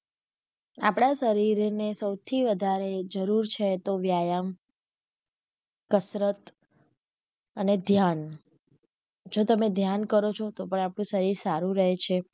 આપડા શરીર ને સૌથી વધારે જરૂર છે તો વ્યાયામ , કસરત અને ધ્યાન જો તમે ધ્યાન કરો ચો તો પણ આપણું શરીર સારું રહે છે.